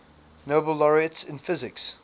nobel laureates in physics